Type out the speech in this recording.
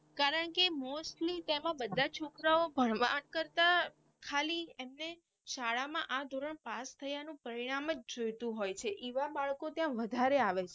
કારણે કે Mostly તેમાં બધા છોકરાઓ ભણવા કરતા ખાલી એમને શાળા માં આ ધોરણ પાસ થયાનું પરિણામ જ જોયતું હોય છે એવા બાળકો ત્યાં વધારે આવે.